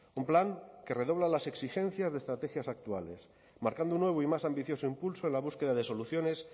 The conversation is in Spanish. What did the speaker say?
un plan que redobla las exigencias de estrategias actuales marcando un nuevo y más ambicioso impulso en la búsqueda de soluciones